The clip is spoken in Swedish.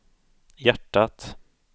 hjärtat